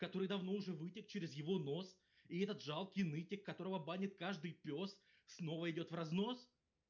который давно уже вытек через его нос и этот жалкий нытик которого банит каждый пёс снова идёт в разнос